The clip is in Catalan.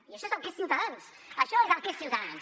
i això és el que és ciutadans això és el que és ciutadans